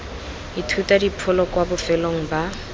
ithuta dipholo kwa bofelong ba